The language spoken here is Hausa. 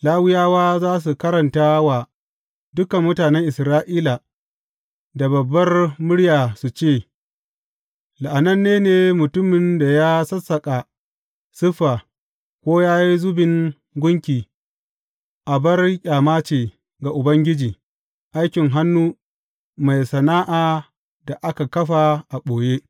Lawiyawa za su karanta wa dukan mutanen Isra’ila da babbar murya su ce, La’ananne ne mutumin da ya sassaƙa siffa, ko ya yi zubin gunki, abar ƙyama ce ga Ubangiji, aikin hannu mai sana’a da aka kafa a ɓoye.